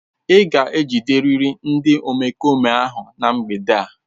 Ị ga-ejiderịrị ndị omekome ahụ na mgbede a.